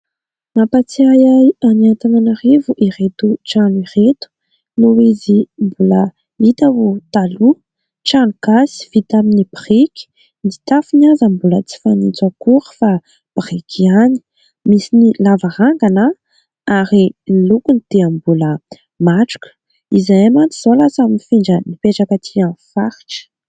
Mampahatsiahy ahy any Antananarivo ireto trano ireto noho izy mbola hita ho taloha trano gasy vita amin'ny biriky : ny tafony aza mbola tsy fanitso akory fa biriky ihany, misy ny lavarangana ary ny lokony dia mbola matroka izay mantsy izao lasa nifindra nipetraka aty amin'ny faritra.